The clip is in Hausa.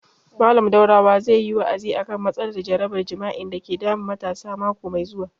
Mallam Daurawa zai yi wa'azi a kan matsalar jarabar jima'i dake damun matasa mako mai zuwa